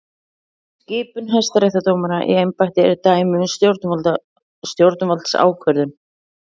Skipun hæstaréttardómara í embætti er dæmi um stjórnvaldsákvörðun.